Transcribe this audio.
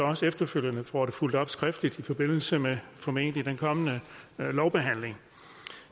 også efterfølgende får det fulgt op skriftligt i forbindelse med den formentlig kommende lovbehandling